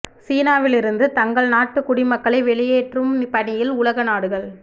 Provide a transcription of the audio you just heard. சீனாவில் இருந்து தங்கள் நாட்டு குடிமக்களை வெளியேற்றும் பணியில் உலக நாடுகள்